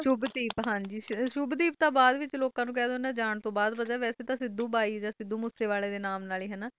ਹਨਜੀ ਸ਼ੁੱਭਦੀਪ ਤਾ ਜਾਨ ਤੋਂ ਬਾਦ ਲੋਕ ਨੂੰ ਪਤਾ ਲਗਾ ਹੈ ਉਹ ਇਹਨੂੰ ਸਿੱਧੂ ਬਾਈ ਜਾ ਸਿੱਧੂ ਮੁਸਾਵਾਲ ਹੈ ਬੋਲਦੇ ਸੇ